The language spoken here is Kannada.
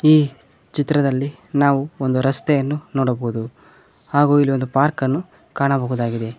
ಈ ಚಿತ್ರದಲ್ಲಿ ನಾವು ಒಂದು ರಸ್ತೆಯನ್ನು ನೋಡಬಹುದು ಹಾಗೂ ಇಲ್ಲೊಂದು ಪಾರ್ಕನ್ನು ಕಾಣಬಹುದಾಗಿದೆ.